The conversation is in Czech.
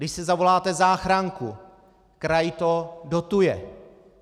Když si zavoláte záchranku, kraj to dotuje.